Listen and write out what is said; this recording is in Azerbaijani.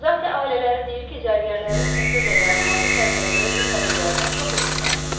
Zati-ailələri deyir ki, zərgərlərin səfirlə yaramazı fərqləndirə bilmədiklərinə çox əfslənir.